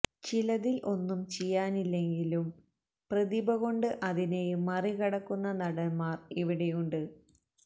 ചിലതിൽ ഒന്നും ചെയ്യാനില്ലെങ്കിലും പ്രതിഭ കൊണ്ട് അതിനെയും മറികടക്കുന്ന നടൻമാർ ഇവിടെയുണ്ട്